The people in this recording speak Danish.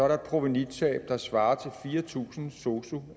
der et provenutab der svarer til fire tusind sosu